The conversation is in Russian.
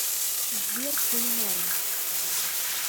сбер кулинарим